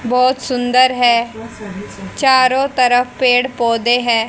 बहुत सुंदर है चारों तरफ पेड़ पौधे हैं।